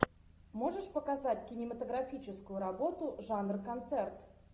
можешь показать кинематографическую работу жанр концерт